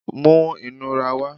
mú inurá wá!